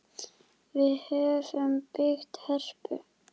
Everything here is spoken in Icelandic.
Við höfum byggt Hörpu.